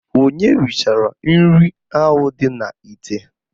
Onye richara nri ahụ dị n'ite?